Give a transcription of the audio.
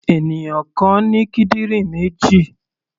Ènìyàn kan ní kídìrín méjì.